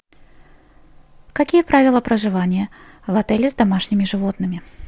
какие правила проживания в отеле с домашними животными